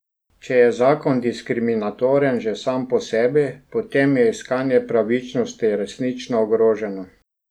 Če je zakon diskriminatoren že sam po sebi, potem je iskanje pravičnosti resnično ogroženo.